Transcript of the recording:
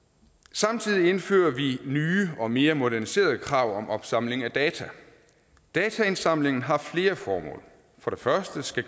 samtidig indfører vi nye og mere moderniserede krav om opsamling af data dataindsamlingen har flere formål for det første skal